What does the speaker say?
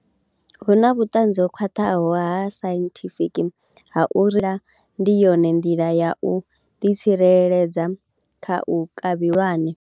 Hu na vhuṱanzi ho khwaṱhaho ha sainthifiki ha ndi yone nḓila ya u ḓi tsireledza kha u kavhiwa lwane.